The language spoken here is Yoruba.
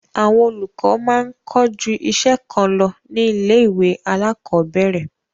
Àwọn olùkọ máa ń kọ́ ju iṣẹ́ kan lọ ní ilé-ìwé alákọ̀ọ́bẹ̀ẹ̀rẹ̀.